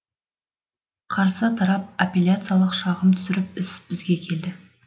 қарсы тарап аппельяциялық шағым түсіріп іс бізге келді